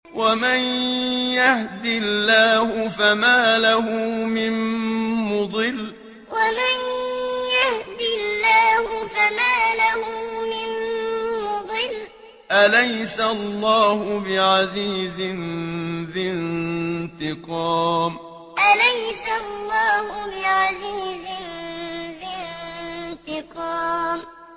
وَمَن يَهْدِ اللَّهُ فَمَا لَهُ مِن مُّضِلٍّ ۗ أَلَيْسَ اللَّهُ بِعَزِيزٍ ذِي انتِقَامٍ وَمَن يَهْدِ اللَّهُ فَمَا لَهُ مِن مُّضِلٍّ ۗ أَلَيْسَ اللَّهُ بِعَزِيزٍ ذِي انتِقَامٍ